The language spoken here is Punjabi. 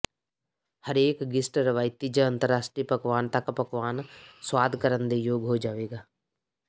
ਹਰੇਕ ਗਿਸਟ ਰਵਾਇਤੀ ਜ ਅੰਤਰਰਾਸ਼ਟਰੀ ਪਕਵਾਨ ਤੱਕ ਪਕਵਾਨ ਸੁਆਦ ਕਰਨ ਦੇ ਯੋਗ ਹੋ ਜਾਵੇਗਾ